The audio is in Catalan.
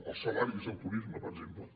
els salaris del turisme per exemple